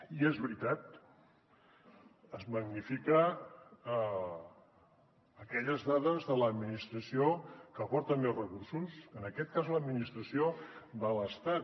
i és veritat es magnifiquen aquelles dades de l’administració que aporten més recursos en aquest cas l’administració de l’estat